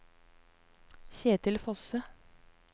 Kjetil Fosse